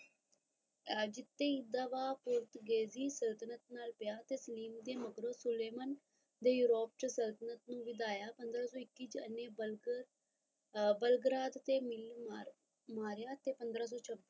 ਜਿਤੇ ਸੰਤੁਲਨ ਪਿਆ ਮਗਰੋਂ ਸੁਲੇਮਨ ਯੁਰੋਪ ਸੰਤੁਲਨ ਨੂੰ ਵਧਾਇਆ ਪੰਦਰਾ ਸੋ ਇੱਕੀ ਚ ਬਲਬਲ ਬਲਬਰਾਤ ਮਿਲੀ ਮਾਰਿਆ